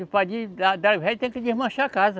O resto tem que desmanchar a casa.